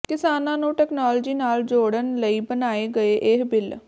ਕਿਸਾਨਾਂ ਨੂੰ ਟੈਕਨੋਲਜੀ ਨਾਲ ਜੋੜਨ ਲਈ ਬਣਾਏ ਗਏ ਇਹ ਬਿਲ